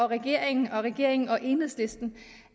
regeringen regeringen og enhedslisten